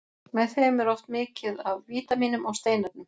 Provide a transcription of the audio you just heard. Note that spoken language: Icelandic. Með þeim er oft mikið af vítamínum og steinefnum.